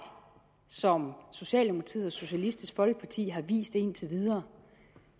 som socialdemokratiet og socialistisk folkeparti har anvist indtil videre